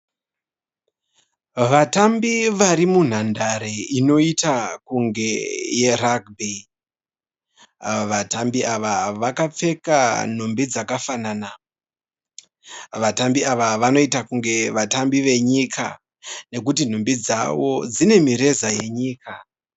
Vatambu vari munhandare inoita kunge yeragibhi .Vatambi ava vakapfeka nhumbi dzakafanana. Vatambi ava vanoita kunge vatambi venyika nekuti nhumbi dzavo dzine mireza wenyika.